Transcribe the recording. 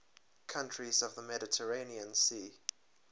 countries of the mediterranean sea